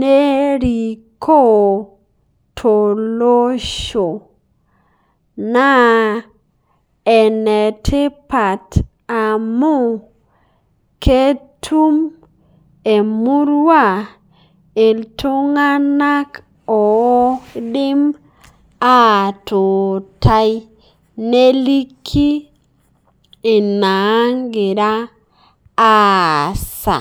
neirikoo to losho. Naa enetipaat amu ketuum e murua eltung'anak o idiim atuutai neliiki enia agiraa aasa.